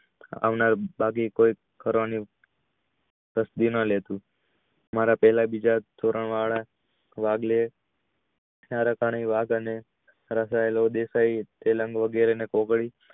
આવનાર બાકી કોઈ મારા પેલા બીજા ધોરણ વાળા વગેરે ને